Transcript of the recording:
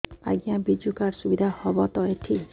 ଆଜ୍ଞା ବିଜୁ କାର୍ଡ ସୁବିଧା ହବ ତ ଏଠି